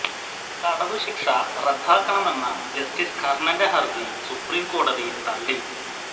തടവു ശിക്ഷ റദ്ദാക്കണമെന്ന ജസ്റ്റിസ് കർണന്റെ ഹരജി സുപ്രീം കോടതി തളളി